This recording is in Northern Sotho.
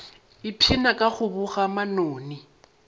ipshina ka go boga manoni